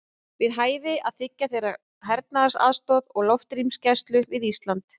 Er við hæfi að þiggja þeirra hernaðaraðstoð og loftrýmisgæslu við Ísland?